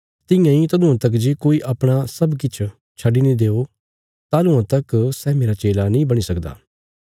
तियां इ तदुआं तक जे कोई अपणा सब किछ छड्डी नीं देओ तालुआं तक सै मेरा चेला नीं बणी सकदा